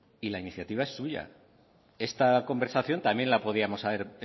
y la iniciativa es suya esta conversación también podíamos haber